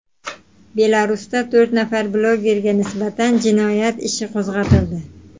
Belarusda to‘rt nafar blogerga nisbatan jinoyat ishi qo‘zg‘atildi.